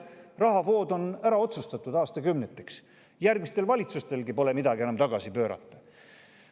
Rahavood on ära otsustatud aastakümneteks, järgmistel valitsustelgi pole enam midagi tagasi pöörata.